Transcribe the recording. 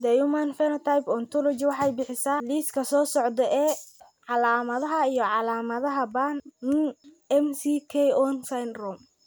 The Human Phenotype Ontology waxay bixisaa liiska soo socda ee calaamadaha iyo calaamadaha Burn McKeown syndrome.